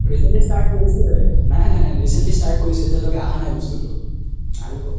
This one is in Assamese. recently start কৰিছো হে নাই নাই recently start কৰিছো হে এতিয়া লৈকে আহা নাই বস্তুতো আহিব